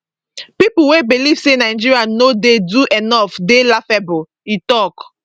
pipo wey believe say nigeria no dey do enough dey laughable e tok